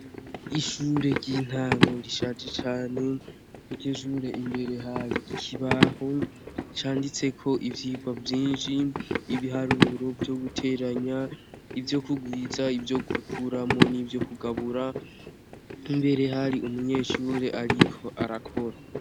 Ishure ry' intango rishaje cane iryo shure imbere hari ikibaho canditseko ivyigwa vyinshi ibiharuro vyo guteranya ivyo kugwiza ivyo gukuramwo n' ivyo kugabura imbere hari umunyeshure ariko arakora.